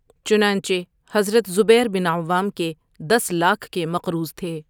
چنانچہ حضرت زبیر ؓبن عوام کے دس لاکھ کے مقروض تھے۔